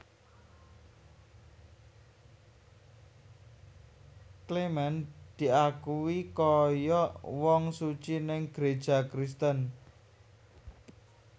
Clement diakui koyok wong suci neng gereja Kristen